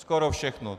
Skoro všechno.